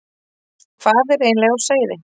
Hvað er eiginlega á seyði?